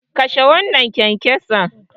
Kashe wannan kyankyason.